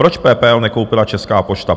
Proč PPL nekoupila Česká pošta?